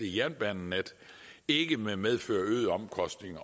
jernbanenet ikke vil medføre øgede omkostninger